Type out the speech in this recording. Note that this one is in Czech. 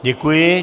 Děkuji.